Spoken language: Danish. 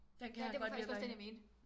Den kan han godt lide at være i